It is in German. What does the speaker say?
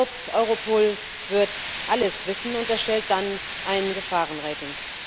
Kurz Europol wird alles wissen und erstellt dann ein Gefahren Rating.